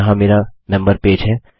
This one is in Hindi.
यहाँ मेरा मेम्बर पेज है